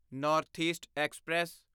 north east express